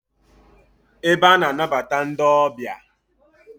Ebe a na-anabata ndi obia